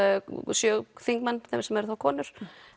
sjö þingmenn sem eru þá konur